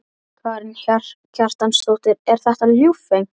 Karen Kjartansdóttir: Er þetta ljúffengt?